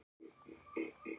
Það væri hægt að gera það.